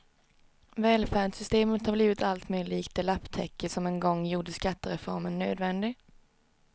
Välfärdssystemet har blivit alltmer likt det lapptäcke som en gång gjorde skattereformen nödvändig.